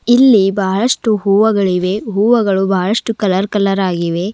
ಇಲ್ಲಿ ಬಹಳಷ್ಟು ಹೂವಗಳಿವೆ ಹೂವಗಳು ಬಹಳಷ್ಟು ಕಲರ್ ಕಲರ್ ಆಗಿವೆ.